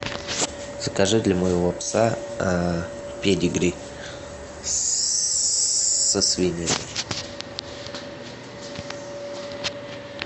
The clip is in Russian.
закажи для моего пса педигри со свининой